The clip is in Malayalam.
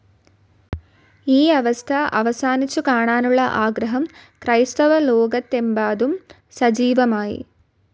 ഈ അവസ്ഥ അവസാനിച്ചു കാണാനുള്ള ആഗ്രഹം ക്രൈസ്തവലോകത്തെമബാദും സജീവമായി.